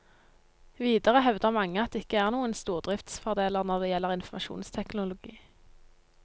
Videre hevder mange at det ikke er noen stordriftsfordeler når det gjelder informasjonsteknologi.